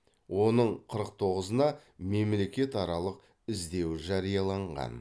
оның қырық тоғызына мемлекетаралық іздеу жарияланған